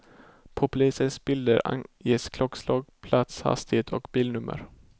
På polisens bilder anges klockslag, plats, hastighet och bilnummer.